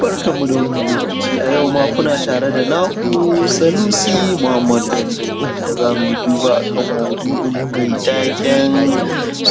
barkanmu da wannan lokaci a yau ma kuna tare da naku sanusi muhammad bello inda za mu yi duba a kan maudu’inmu mai taken